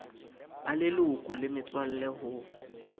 ba leloko le metswalle ho